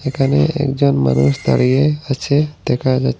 এখানে একজন মানুষ দাঁড়িয়ে আছে দেখা যা--